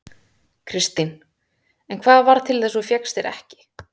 Kristín: En hvað varð til þess að þú fékkst þér ekki?